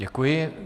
Děkuji.